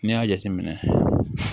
N'i y'a jateminɛ